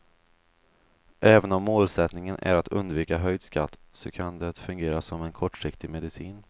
Även om målsättningen är att undvika höjd skatt, så kan det fungera som en kortsiktig medicin.